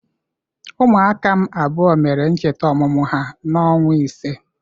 Ụmụaka m abụọ mere ncheta ọmụmụ ha n'ọnwa ise.